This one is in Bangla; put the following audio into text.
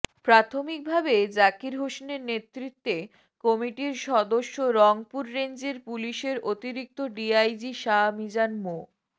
প্রাথমিকভাবে জাকির হোসেনের নেতৃত্বে কমিটির সদস্য রংপুর রেঞ্জের পুলিশের অতিরিক্ত ডিআইজি শাহ মিজান মো